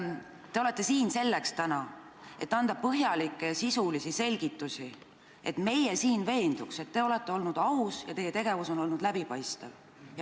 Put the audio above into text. Te olete siin täna selleks, et anda põhjalikke ja sisulisi selgitusi, et meie siin veenduks, et te olete olnud aus ja teie tegevus on olnud läbipaistev.